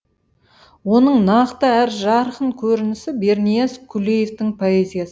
оның нақты әрі жарқын көрінісі бернияз күлеевтың поэзияс